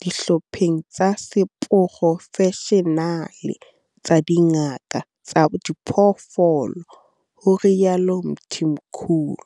dihlopheng tsa seporofeshenale tsa dingaka tsa diphoofolo, ho rialo Mthimkhulu.